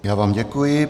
Já vám děkuji.